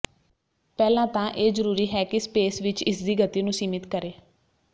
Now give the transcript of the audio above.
ਪਹਿਲਾਂ ਤਾਂ ਇਹ ਜ਼ਰੂਰੀ ਹੈ ਕਿ ਸਪੇਸ ਵਿੱਚ ਇਸਦੀ ਗਤੀ ਨੂੰ ਸੀਮਿਤ ਕਰੇ